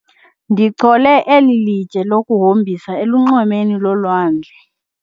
Ndichole eli litye lokuhombisa elunxwemeni lolwandle.